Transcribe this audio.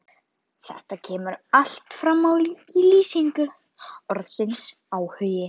Þetta kemur allt fram í lýsingu orðsins áhugi: